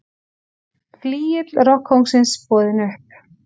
Flygill rokkkóngsins boðinn upp